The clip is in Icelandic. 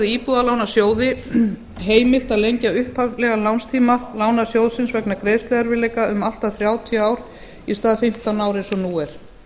íbúðalánasjóði heimilt að lengja upphaflegan lánstíma lánasjóðsins vegna greiðsluerfiðiieka um allt að þrjátíu ár í stað fimmtán ára eins og nú er